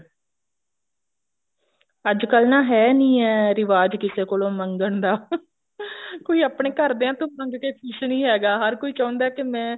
ਅੱਜਕਲ ਹੈ ਨੀ ਐ ਰਿਵਾਜ ਕਿਸੇ ਕੋਲ ਮੰਗਣ ਦਾ ਕੋਈ ਆਪਣੇ ਘਰਦਿਆਂ ਤੋਂ ਮੰਗ ਕੇ ਖੁਸ਼ ਨਹੀਂ ਹੈਗਾ ਹਰ ਕੋਈ ਚਾਹੁੰਦਾ ਹੈ ਕੇ ਮੈਂ